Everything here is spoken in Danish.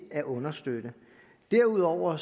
at understøtte derudover